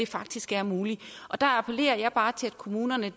faktisk er muligt der appellerer jeg bare til at kommunerne